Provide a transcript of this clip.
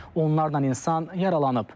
Onlardan min insan yaralanıb.